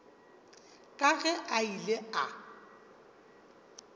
ka ge a ile a